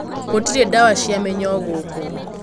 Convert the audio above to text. Gūtirī ndawa cia minyoo gūkū.